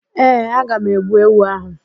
Ee, aga m egbu ewu áhụ̀.